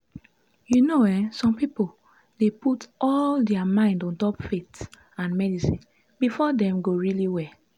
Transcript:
you know eh some pipo dey put all dia mind ontop faith and medicine befor dem go really well?